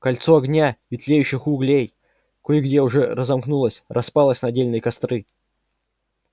кольцо огня и тлеющих углей кое где уже разомкнулось распалось на отдельные костры